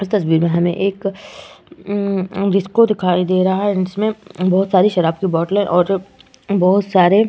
इस तस्वीर में हमें एक ंम डिस्को दिखाई दे रहा है जिसमें बहोत सारी शराब की बोटलें और बहोत सारे --